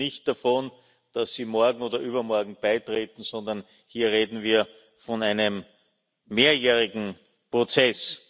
Wir reden nicht davon, dass sie morgen oder übermorgen beitreten, sondern wir reden hier von einem mehrjährigen Prozess.